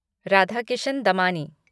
Radhakishan Damani